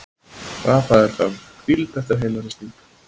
Rafael þarf hvíld eftir heilahristing